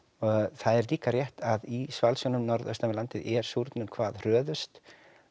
það er líka rétt að í svalsjónum norðan við landið er súrnun hvað hröðust